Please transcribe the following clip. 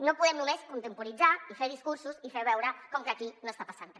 no podem només contemporitzar i fer discursos i fer veure com que aquí no està passant re